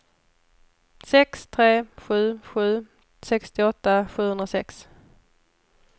sex tre sju sju sextioåtta sjuhundrasex